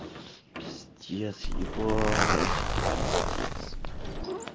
пиздец ебать это пиздец